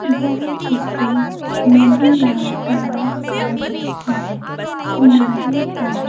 यह किसी नदी या तलाब का दृश्य है किनारे पर--